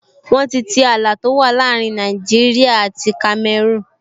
Wọ́n ti tii ààlà tó wà láàrin Nàìjíríyà àti Kamẹrúùn